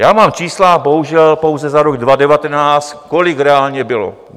Já mám čísla bohužel pouze za rok 2019, kolik reálně bylo.